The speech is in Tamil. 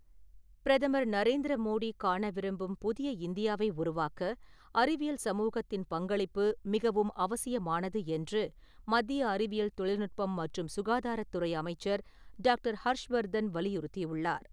பிரதமர் நரேந்திர மோடி காண விரும்பும் புதிய இந்தியாவை உருவாக்க, அறிவியல் சமூகத்தின் பங்களிப்பு மிகவும் அவசியமானது என்று மத்திய அறிவியல் தொழில்நுட்பம் மற்றும் சுகாதாரத் துறை அமைச்சர் டாக்டர் ஹர்ஷ் வர்தன் வலியுறுத்தியுள்ளார்.